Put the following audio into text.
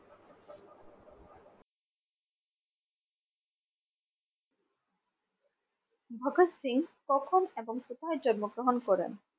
ভগৎ সিং কখন এবং কোথায় জন্ম গ্রহণ করেন?